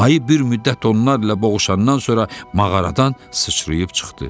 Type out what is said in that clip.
Ayı bir müddət onlarla boğuşandan sonra mağaradan sıçrayıb çıxdı.